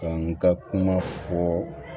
n ka kuma fɔɔ